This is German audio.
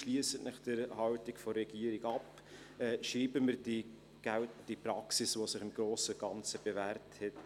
Schliessen Sie sich der Haltung der Regierung an, schreiben wir die geltende Praxis weiter, die sich im Grossen und Ganzen bewährt hat.